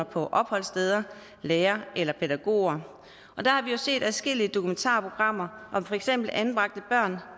på opholdssteder lærere eller pædagoger og der har vi jo set adskillige dokumentarprogrammer om for eksempel anbragte børn